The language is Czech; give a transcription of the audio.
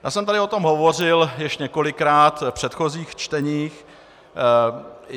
Já jsem tady o tom hovořil již několikrát v předchozích čteních.